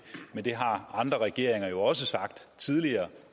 men det har andre regeringer jo også sagt tidligere